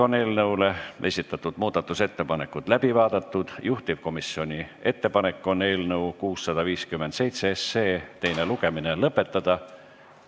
Eelnõu kohta esitatud muudatusettepanekud on läbi vaadatud, juhtivkomisjoni ettepanek on eelnõu 657 teine lugemine lõpetada.